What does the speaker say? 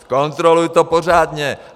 Zkontroluj to pořádně!